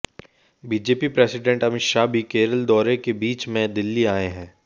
BJP president Amit Shah भी केरल दौरे के बीच में दिल्ली आए हैं